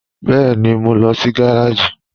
Bẹẹni, mọ̀ n lọ sí gàràjì.